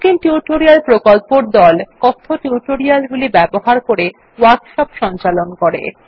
spoken tutorial প্রকল্পর দল কথ্য টিউটোরিয়াল গুলি ব্যবহার করে ওয়ার্কশপ সঞ্চালন করে